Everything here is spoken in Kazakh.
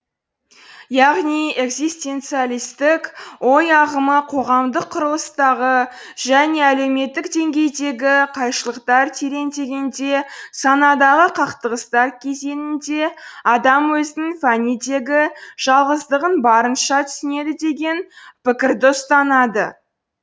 яғни экзистенциалистік ой ағымы қоғамдық құрылыстағы және әлеуметтік деңгейдегі қайшылықтар тереңдегенде санадағы қақтығыстар кезеңінде адам өзінің фәнидегі жалғыздығын барынша түсінеді деген пікірді ұстанады